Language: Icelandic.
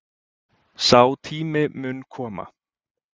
Sá tími muni koma